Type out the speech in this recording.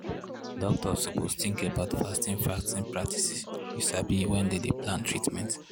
doctors suppose tink about fasting fasting practices you sabi wen dem dey plan treatment.